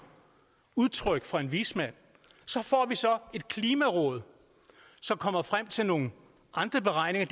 udtryk fra en vismand så får vi så et klimaråd som kommer frem til nogle andre beregninger